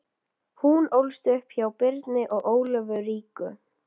Hún ólst upp hjá Birni og Ólöfu ríku